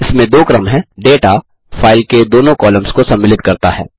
इसमें दो क्रम हैं डेटा फाइल के दोनों कॉलम्स को सम्मिलित करता है